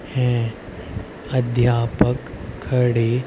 हैं अध्यापक खड़े।